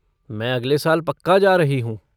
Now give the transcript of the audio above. मैं अगले साल पक्का जा रही हूँ।